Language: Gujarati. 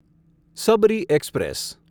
સબરી એક્સપ્રેસ